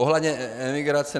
Ohledně imigrace.